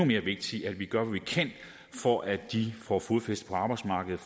mere vigtigt at vi gør hvad vi kan for at de får fodfæste på arbejdsmarkedet